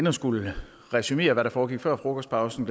at skulle resumere hvad der foregik før frokostpausen